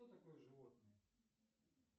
кто такой животное